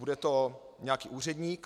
Bude to nějaký úředník?